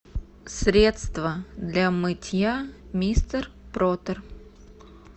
средство для мытья мистер пропер